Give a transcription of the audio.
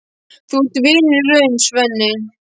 Þú ert vinur í raun, Svenni.